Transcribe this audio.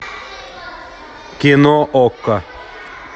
кино окко